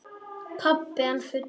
Pabbi enn fullur.